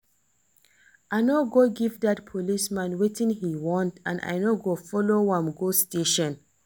I no go give dat policeman wetin he want and I no go follow am go station